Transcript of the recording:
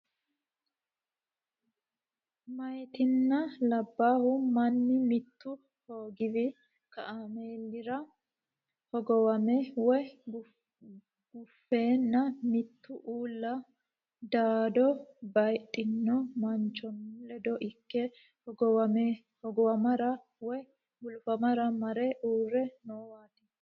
Meyatinna labbayi manni mittu hogowi kaameelira hogowame woy gufenna mitu uulla dado baayidhino manchonni ledo ikke hogowamara woy gulufara mare uurre noowaati.